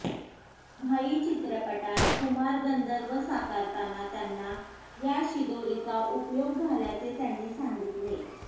भाई चित्रपटात कुमार गंधर्व साकारताना त्यांना या शिदोरीचा उपयोग झाल्याचे त्यांनी सांगितले